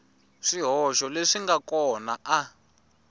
swihoxo leswi nga kona a